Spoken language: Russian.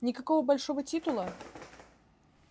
никакого большого титула